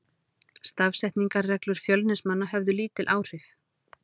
Stafsetningarreglur Fjölnismanna höfðu lítil áhrif.